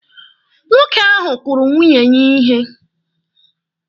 Nwoke ahụ kụrụ nwunye ya ihe.